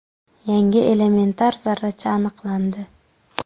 Yangi elementar zarracha aniqlandi.